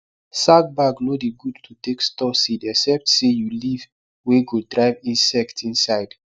sack bag nor dey good to take store seed except say you leaf wey go drive insect inside